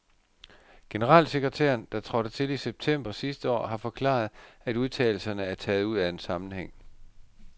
Generalsekretæren, der trådte til i september sidste år, har forklaret, at udtalelserne er taget ud af en sammenhæng.